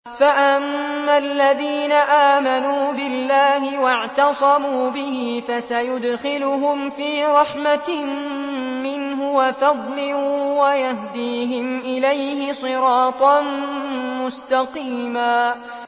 فَأَمَّا الَّذِينَ آمَنُوا بِاللَّهِ وَاعْتَصَمُوا بِهِ فَسَيُدْخِلُهُمْ فِي رَحْمَةٍ مِّنْهُ وَفَضْلٍ وَيَهْدِيهِمْ إِلَيْهِ صِرَاطًا مُّسْتَقِيمًا